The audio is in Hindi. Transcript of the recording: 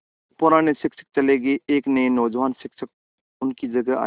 पुराने शिक्षक चले गये एक नये नौजवान शिक्षक उनकी जगह आये